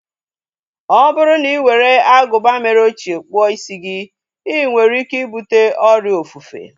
Ọ bụrụ na ị were agụba mere ochie kpụọ isi gị, inwere ike ibute ọrịa ofufe